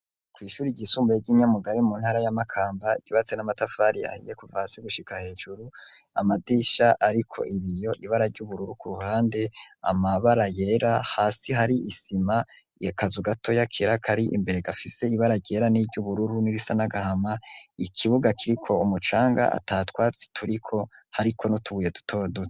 Kw'ishuri ryisumbuye ry'i Nyamugari mu ntara ya Makamba, ryubatse n'amatafari yahiye kuvasi gushika hejuru, amadisha ariko ibiyo, ibara ry'ubururu ku ruhande, amabara yera, hasi hari isima yakazu gatoya kera kari imbere, gafise ibara ryera n'iry'ubururu n'irisa n'agahama, ikibuga kiriko umucanga atatwatsi turiko, hariko n'utubuye dutoduto.